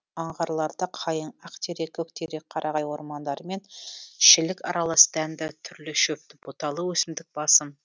аңғарларда қайың ақтерек көктерек қарағай ормандары мен шілік аралас дәнді түрлі шөпті бұталы өсімдік басым